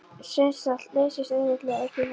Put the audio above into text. Steinsalt leysist auðveldlega upp í vatni.